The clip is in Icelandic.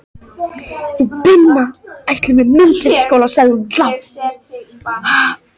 Við Binna ætlum á myndlistarskóla, sagði hún lágt.